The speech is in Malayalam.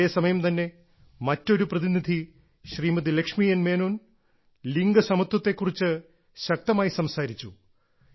അതേസമയം തന്നെ മറ്റൊരു പ്രതിനിധി ശ്രീമതി ലക്ഷ്മി എൻ മേനോൻ ലിംഗസമത്വത്തെ കുറിച്ച് ശക്തമായി സംസാരിച്ചു